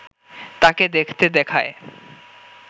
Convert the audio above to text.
তাকে দেখতে দেখায়